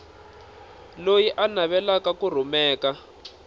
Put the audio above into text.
loyi a navelaka ku rhumela